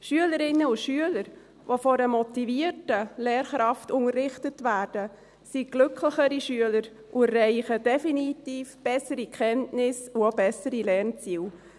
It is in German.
Schülerinnen und Schüler, die von einer motivierten Lehrkraft unterrichtet werden, sind glücklichere Schüler und erreichen definitiv bessere Kenntnisse und auch bessere Lernziele.